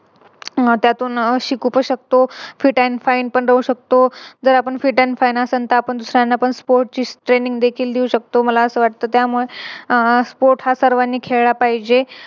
त्यातून शिकू पण शकतो. तो Fit and fine पण राहू शकतो. जर आपण Fit and fine असण तर आपण दुसऱ्यांना पण Sports ची Training देखी देऊ शकतो मला असं वाटत त्यामुळे अह Sports हा सर्वांनी खेळला पाहिजे